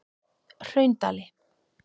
Hraundali